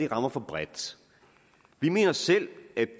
rammer for bredt vi mener selv at